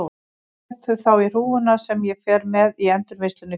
Ég set þau þá í hrúguna sem ég fer með í endurvinnsluna í fyrramálið.